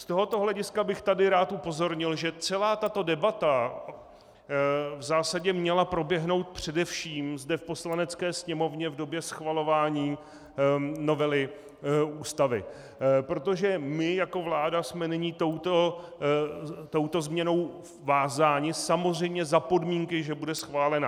Z tohoto hlediska bych tady rád upozornil, že celá tato debata v zásadě měla proběhnout především zde v Poslanecké sněmovně v době schvalování novely Ústavy, protože my jako vláda jsme nyní touto změnou vázáni, samozřejmě za podmínky, že bude schválena.